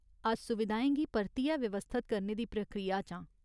अस सुविधाएं गी परतियै व्यवस्थत करने दी प्रक्रिया च आं।